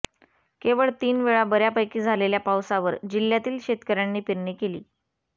केवळ तीन वेळा बऱ्यापैकी झालेल्या पावसावर जिल्ह्यातील शेतकर्यांनी पेरणी केली